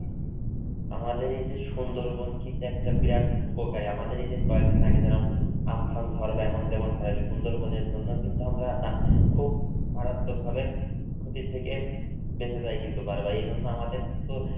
আমাদের এই যে সুন্দরবন কি দেখতে বিরাট উপকারী। আমাদের এই যে, কয়েকদিন আগে যারা আমফান ঝড় বা এমন যেমন হয় সুন্দরবনের জন্য কিন্তু আমরা না খুব মারাত্মক ভাবে ক্ষতি থেকে বেঁচে যায় কিন্তু বার বার। এই জন্য আমাদের কিন্তু